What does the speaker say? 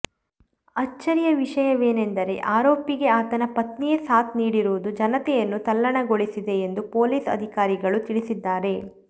ಅಚ್ಚರಿಯ ವಿಷಯವೆಂದರೆ ಆರೋಪಿಗೆ ಆತನ ಪತ್ನಿಯೇ ಸಾಥ್ ನೀಡಿರುವುದು ಜನತೆಯನ್ನು ತಲ್ಲಣಗೊಳಿಸಿದೆ ಎಂದು ಪೊಲೀಸ್ ಅಧಿಕಾರಿಗಳು ತಿಳಿಸಿದ್ದಾರೆ